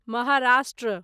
Maharashtra